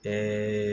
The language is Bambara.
Ɛɛ